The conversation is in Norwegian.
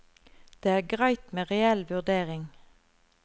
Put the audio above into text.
Det er greit med reell vurdering.